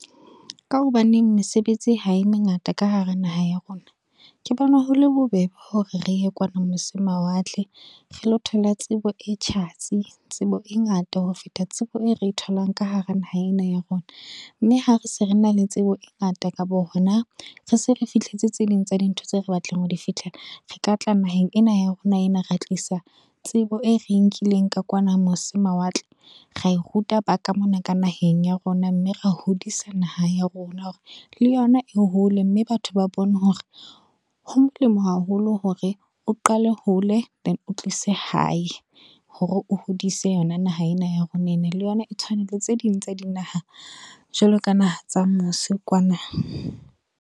Ka hobaneng mesebetsi ha e mengata ka hara naha ya rona. Ke bone hole bobebe hore re ye kwana mose mawatle, re lo thole tsebo e tjhatsi. Tsebo e ngata ho feta tsebo e re tholang ka hara naha ena ya rona, mme ha re se re na le tsebo e ngata kapo ho na re se re fihletse tse ding tsa dintho tse re batlang ho di fihlela. Re ka tla naheng ena ya rona ena ra tlisa tsebo e re e nkileng ka kwana mose mawatle, ra e ruta ba ka mona ka naheng ya rona mme ra hodisa naha ya rona hore le yona e hole, mme batho ba bone hore ho molemo haholo hore o qale hole then o tlise hae, hore o hodise yona naha ena ya rona ena le yona e tshwane le tse ding tsa dinaha jwalo ka naha tsa mose kwana.